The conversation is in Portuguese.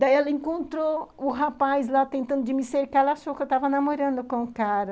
Daí ela encontrou o rapaz lá tentando me cercar, ela achou que eu estava namorando com o cara.